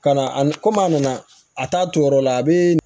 Ka na a ni kɔmi a nana a t'a turu yɔrɔ la a bɛ